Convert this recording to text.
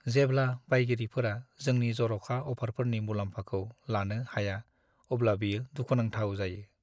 जेब्ला बायगिरिफोरा जोंनि जर'खा अ'फारफोरनि मुलाम्फाखौ लानो हाया अब्ला बेयो दुखु नांथाव जायो।